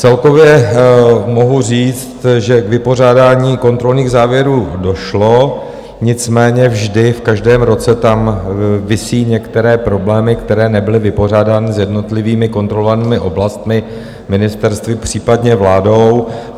Celkově mohu říct, že k vypořádání kontrolních závěrů došlo, nicméně vždy v každém roce tam visí některé problémy, které nebyly vypořádány s jednotlivými kontrolovanými oblastmi ministerstvy, případně vládou.